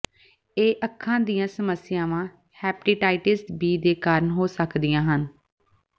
ਇਹ ਅੱਖਾਂ ਦੀਆਂ ਸਮੱਸਿਆਵਾਂ ਹੈਪੇਟਾਈਟਸ ਬੀ ਦੇ ਕਾਰਨ ਹੋ ਸਕਦੀਆਂ ਹਨ